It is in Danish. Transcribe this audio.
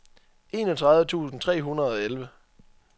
enogtredive tusind tre hundrede og elleve